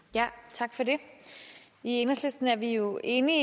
tak for det i enhedslisten er vi jo enige